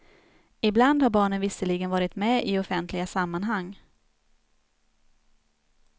Ibland har barnen visserligen varit med i offentliga sammanhang.